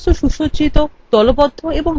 বস্তু সুসজ্জিত